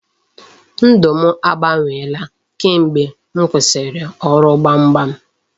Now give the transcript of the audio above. Ndụ m agbanweela kamgbe m kwụsịrị ọrụ gbamgbam.